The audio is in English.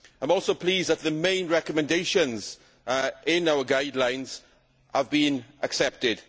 I am also pleased that the main recommendations in our guidelines have been accepted.